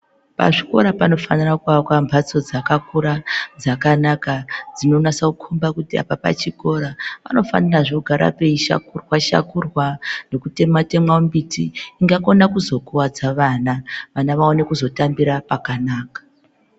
Pazvikora panofana kuvakwa mbatso dzakakura dzakanaka dzinonasa kukomba kuti apa pachikora. Panofanirazve kugara peishakurwa-shakurwa nokutemwa-temwa mbiti ingakona kuzokuvadza vana, vana vaone kuzotambira pakanaka.